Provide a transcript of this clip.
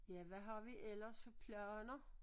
Ja hvad har vi ellers af planer